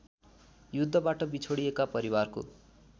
युद्धबाट बिछोडिएका परिवारको